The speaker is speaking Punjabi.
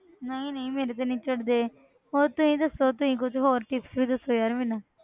ਨਹੀਂ ਨਹੀਂ ਮੇਰੇ ਤੇ ਨੀ ਝੜਦੇ ਹੋਰ ਤੁਸੀਂ ਦੱਸੋ ਤੁਸੀਂ ਕੁੱਝ ਹੋਰ tips ਵੀ ਦੱਸੋ ਯਾਰ ਮੈਨੂੰ।